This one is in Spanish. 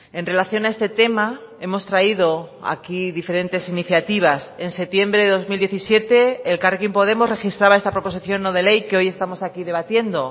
en relación a este tema hemos traído aquí diferentes iniciativas en septiembre de dos mil diecisiete elkarrekin podemos registraba esta proposición no de ley que hoy estamos aquí debatiendo